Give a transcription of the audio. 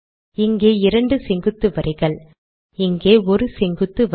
இங்கே இரண்டு செங்குத்து வரிகள் இங்கே ஒரு செங்குத்து வரி